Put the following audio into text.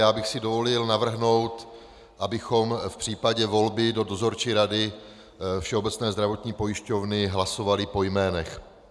Já bych si dovolil navrhnout, abychom v případě volby do Dozorčí rady Všeobecné zdravotní pojišťovny hlasovali po jménech.